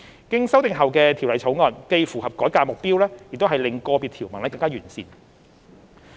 經修訂後的《條例草案》既符合改革的目標，亦令個別條文更為完善。